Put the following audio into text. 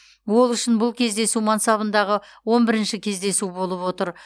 ол үшін бұл кездесу мансабындағы он бірінші кездесу болып отыр